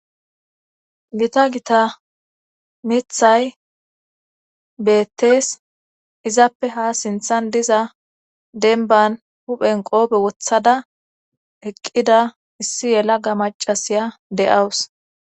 Gita gita mithay beettees izappe ha sinthan diza denban huphen qoobe wothada eqqida issi yelaga macasiya de"awus